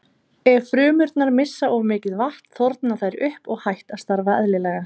Ef frumurnar missa of mikið vatn þorna þær upp og hætt að starfa eðlilega.